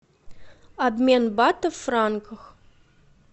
обмен батов в франках